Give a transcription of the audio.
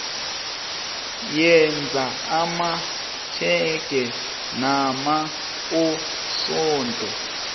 yenza amatjhege namaposoda